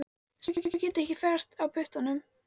Stelpur geta ekki ferðast á puttanum.